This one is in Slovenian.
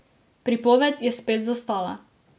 Pripoved je spet zastala.